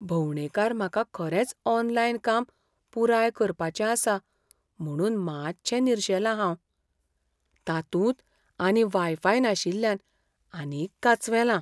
भोंवडेकार म्हाका खरेंच ऑनलायन काम पुराय करपाचें आसा म्हुणून मातशें निरशेलां हांव. तातूंत आनी वाय फाय नाशिल्ल्यान आनीक कांचवेलां.